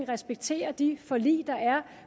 respektere de forlig der er